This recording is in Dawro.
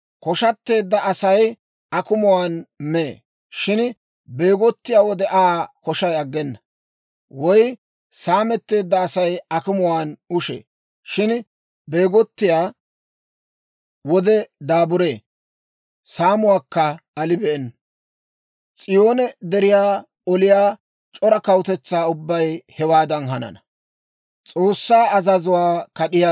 Koshateedda Asay akumuwaan mee; shin beegottiyaa wode Aa koshay aggena; woy saametteedda Asay akumuwaan ushee; shin beegottiyaa wode daaburee; saamuwaakka alibeenna; S'iyoone Deriyaa oliyaa c'ora kawutetsaa ubbay hewaadan hanana.